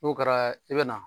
N'o kɛra i bɛ na.